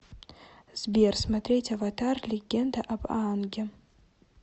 сбер смотреть аватар легенда об аанге